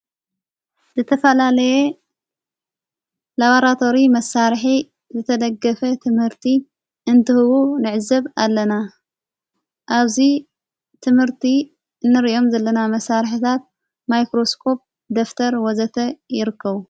ዘተፋላለየ ላባራተሪ መሣርሒ ዘተደገፈ ትምህርቲ እንትህቡ ንዕዘብ ኣለና ኣብዙይ ትምህርቲ እንርእዮም ዘለና መሣርሕታት ማይክሮስቆጵ ደፍተር ወዘተ ይርከዉ።